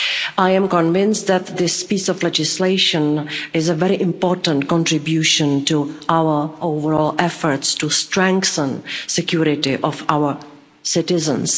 I am convinced that this piece of legislation is a very important contribution to our overall efforts to strengthen the security of our citizens.